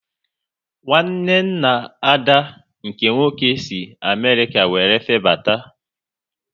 Nwanne nna Ada nke nwoke si Amerịka wéré febata